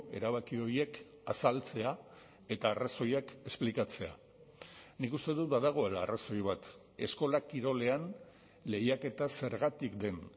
erabaki horiek azaltzea eta arrazoiak esplikatzea nik uste dut badagoela arrazoi bat eskola kirolean lehiaketa zergatik den